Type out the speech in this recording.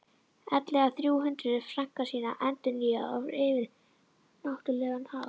ellegar þrjú hundruð frankana sína endurnýjaða á yfirnáttúrlegan hátt.